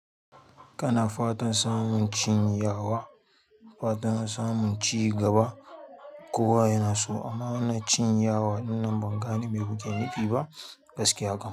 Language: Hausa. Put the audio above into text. Kana fatan samun cin yawa, fatan samun cigaba. Kowa yana so amma na cin yawa ɗin nan ban gane me kuke nufi ba. Gaskiya kam.